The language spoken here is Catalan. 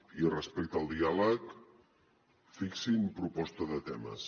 i respecte al diàleg fixin proposta de temes